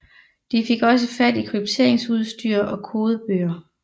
De fik også fat i krypteringsudstyr og kodebøger